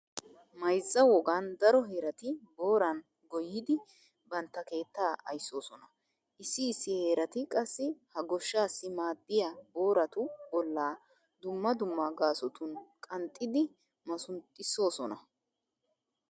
Mayzza wogan daro heerati booran goyyidi bantta keettaa ayssoosona. Issi issi heerati qassi ha goshshaassi maaddiya booratu bollaa dumma dumma gaasotun qanxxidi masunxxissoosona.